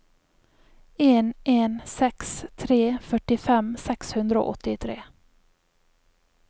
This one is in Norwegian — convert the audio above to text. en en seks tre førtifem seks hundre og åttitre